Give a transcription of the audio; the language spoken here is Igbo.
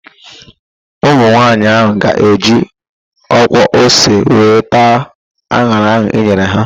Ụmụ nwaanyị ahụ ga-eji ọkwa ose were taa an̄ara ahụ e nyere ha.